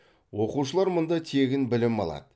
оқушылар мұнда тегін білім алады